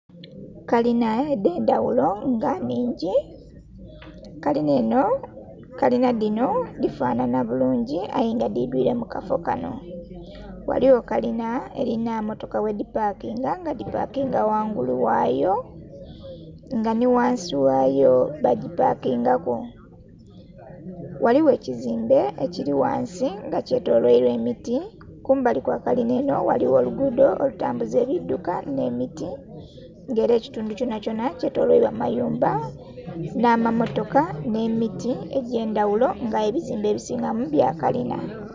Kalinha edhendhaghulo nga nhingi kalinha enho, kalinha dhinho dhifanhanha bulungi ayenga dhidhwire mukafo kanho, ghaligho kalinha erinha emmotoka ghedhipakinga nga dhipakinga ghangulu ghayo nga nhighansi ghayo bagipakingaku. Ghaligho ekizimbe Kiri ghansi nga kyetolweilwa emiti kumbali kwakalinha dhinho ghaligho olugudho alutambuza ebidhuka nh'emiti nga era ekitundhu kyonha kyonha kyetolweilwa mayumba nhamamotoka nh'emiti egyendhaghulo nga aye ebizimbe ebisingamu byakalinha.